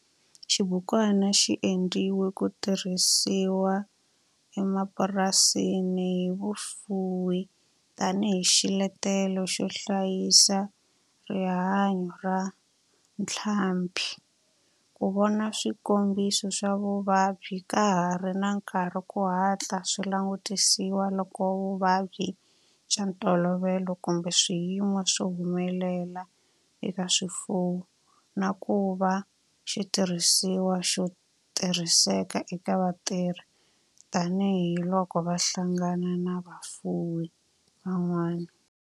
Xibukwana xi endliwe ku tirhisiwa emapurasini hi vafuwi tani hi xiletelo xo hlayisa rihanyo ra ntlhambhi, ku vona swikombiso swa vuvabyi ka ha ri na nkarhi ku hatla swi langutisiwa loko vuvabyi bya ntolovelo kumbe swiyimo swi humelela eka swifuwo, na ku va xitirhisiwa xo tirhiseka eka vatirhi tani hi loko va hlangana na vafuwi van'wana.